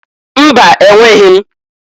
Mba! Enweghi m.